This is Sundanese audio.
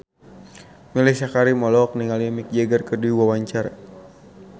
Mellisa Karim olohok ningali Mick Jagger keur diwawancara